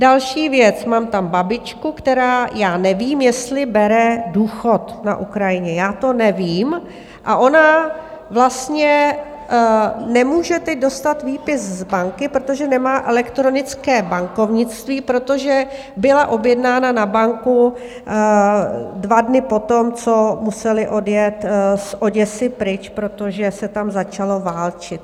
Další věc: mám tam babičku, která já nevím, jestli bere důchod na Ukrajině, já to nevím, a ona vlastně nemůže teď dostat výpis z banky, protože nemá elektronické bankovnictví, protože byla objednána na banku dva dny potom, co museli odjet z Oděsy pryč, protože se tam začalo válčit.